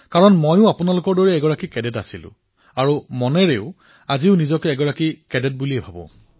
কাৰণ মইও আপোনালোকৰ দৰে কেডেট আছিলো আৰু মনেৰেও মই নিজকে কেডেট বুলি ভাবো